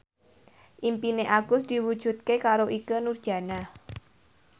impine Agus diwujudke karo Ikke Nurjanah